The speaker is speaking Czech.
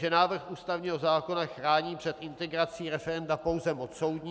Že návrh ústavního zákona chrání před integrací referenda pouze moc soudní.